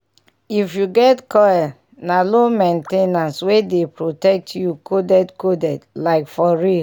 if you get coil na low main ten ance wey dey protect you coded coded. like for real